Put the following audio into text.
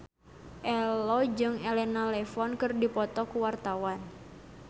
Ello jeung Elena Levon keur dipoto ku wartawan